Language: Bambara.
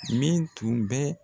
Min tun bɛ